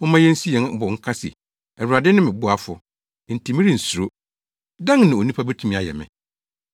Momma yensi yɛn bo nka se, “Awurade ne me boafo, enti merensuro. Dɛn na onipa betumi ayɛ me?”